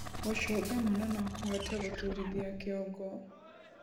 Gucunga mũno nokuhote guturithia kĩongo